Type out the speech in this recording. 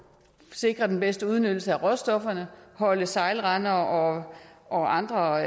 sikre den bedste udnyttelse af råstofferne holde sejlrender og og andre